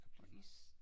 Og is